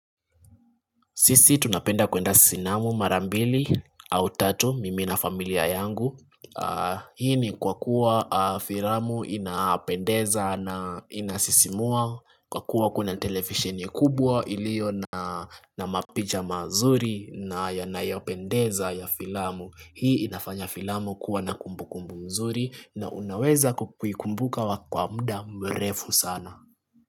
Sisi tunapenda kuenda sinamu mara mbili au tatu mimi na familia yangu. Hii ni kwa kuwa filamu inapendeza na inasisimua kwa kuwa kuna televisheni kubwa ilio na mapicha mazuri na yanayopendeza ya filamu. Hii inafanya filamu kuwa na kumbukumbu mzuri na unaweza kuikukumbuka wa kwa muda mrefu sana.